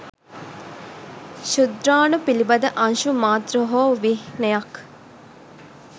ක්ෂුද්‍රාණු පිළිබඳ අංශු මාත්‍ර හෝ චිහ්නයක්